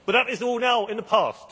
But that is now all in the past.